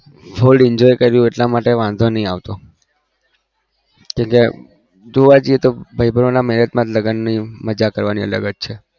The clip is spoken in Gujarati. full enjoy કર્યો એટલા માટે વાધો નહિ આવતો જોવા જઈએ તો ભાઈબંધ ના marriage મજા કરવાની અલગ છે